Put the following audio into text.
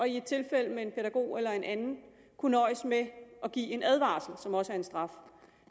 i et tilfælde med en pædagog eller en anden kunne nøjes med at give en advarsel som også er en straf